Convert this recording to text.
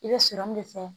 I bɛ de kɛ